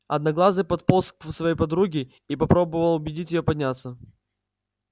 одноглазый подполз к своей подруге и попробовал убедить её подняться